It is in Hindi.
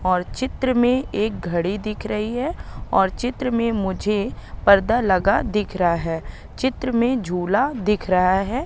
और चित्र में एक घड़ी दिख रही है और चित्र में मुझे पर्दा लगा दिख रहा है चित्र में झूला दिख रहा है।